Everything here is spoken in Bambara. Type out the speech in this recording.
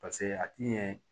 a t'i ɲɛ